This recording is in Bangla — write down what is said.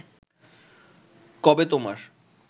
কবে তোমার